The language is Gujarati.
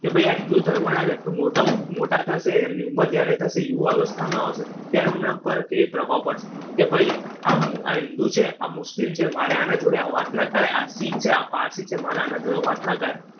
કે ભાઈ આ હિન્દુ ધર્મના છે તો મોટા મોટા થશે એમની ઉંમર જયારે થશે, યુવા અવસ્થામાં આવશે ત્યારે એમના ઉપર કેવી પ્રભાવ પડશે? કે ભાઈ આ હિન્દુ છે, આ મુસ્લિમ છે. મારે આના જોડે આમ વાત ના થાઈ. આ શીખ છે, આ પારસી છે. મારે આના જોડે વાત ના કરાય.